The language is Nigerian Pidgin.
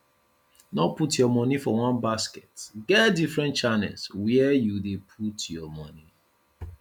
no put your monie for one basket get different channels where you dey put your monie